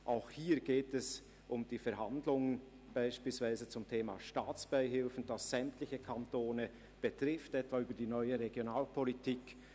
Auch hier geht es um die Verhandlungen beispielsweise zum Thema Staatsbeihilfen, das sämtliche Kantone betrifft, etwa über die neue Regionalpolitik.